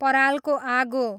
परालको आगो